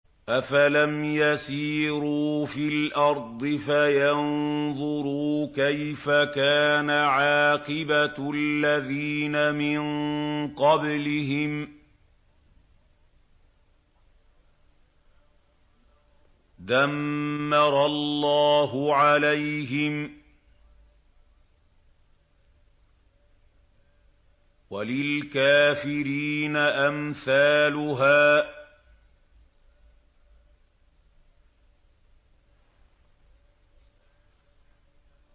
۞ أَفَلَمْ يَسِيرُوا فِي الْأَرْضِ فَيَنظُرُوا كَيْفَ كَانَ عَاقِبَةُ الَّذِينَ مِن قَبْلِهِمْ ۚ دَمَّرَ اللَّهُ عَلَيْهِمْ ۖ وَلِلْكَافِرِينَ أَمْثَالُهَا